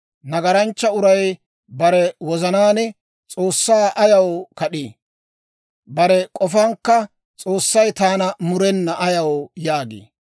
Nagaranchcha uray bare wozanaan, S'oossaa ayaw kad'ii? Bare k'ofankka, «S'oossay taana murena» ayaw yaagii?